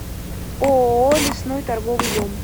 ооо лесной торговый дом